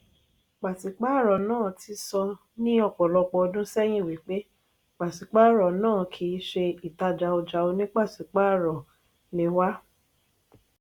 pasipaaro náà tí sọ ni ọpọlọpọ ọdun sẹyin wípé pasipaaro náà kìí ṣe ìtajà ọja oní pasipaaro ni wá.